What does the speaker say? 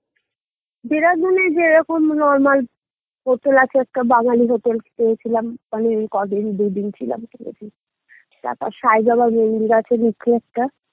দেরাদুনে, যেরকম normal hotel আছে একটা বাঙালী hotel পেয়েছিলাম তারপর সাই বাবার মন্দির আছে মুখে একটা